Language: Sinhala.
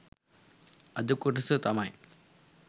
අද කොටස තමයි